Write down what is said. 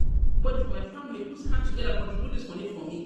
Na everybodi for um my family put hand togeda contribute um dis moni for me. um